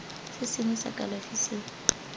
se sengwe sa kalafi se